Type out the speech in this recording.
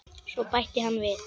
Svo bætti hann við